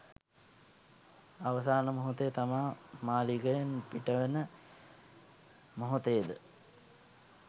අවසාන මොහොතේ තමා මාළිගයෙන් පිටවෙන මොහොතේද